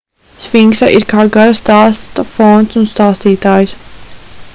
sfinksa ir kā gara stāsta fons un stāstītājs